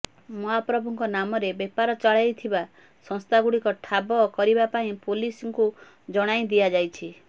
ମହାପ୍ରଭୁଙ୍କ ନାମରେ ବେପାର ଚଳାଇଥିବା ସଂସ୍ଥାଗୁଡ଼ିକ ଠାବ କରିବା ପାଇଁ ପୋଲିସଙ୍କୁ ଜଣାଇ ଦିଆଯାଇଛି